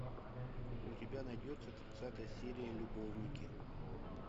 у тебя найдется тридцатая серия любовники